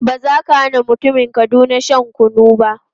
Ba za ka hana mutumin Kaduna shan kunu ba.